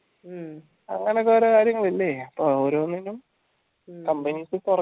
അങ്ങനൊക്കെ ഓരോ കാര്യങ്ങൾ പോയി ഓരോന്നിനും